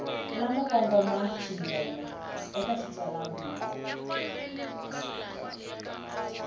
lamo kongoma swinene eka xitsalwambiko